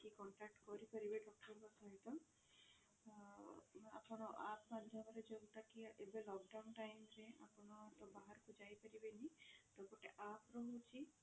contact କରି ପାରିବେ doctor ଙ୍କ ସହିତ ଆପଣ app ମାଧ୍ୟମରେ ଯୋଉଟା କି ଏବେ lockdown time ରେ ଆପଣ ତ ବାହାରକୁ ଯାଇ ପରିବେନି ତ ଗୋଟେ app ରହୁଛି